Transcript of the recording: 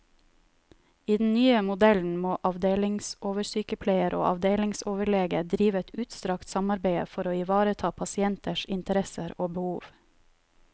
I den nye modellen må avdelingsoversykepleier og avdelingsoverlege drive et utstrakt samarbeide for å ivareta pasienters interesser og behov.